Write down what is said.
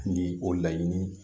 Ni o laɲini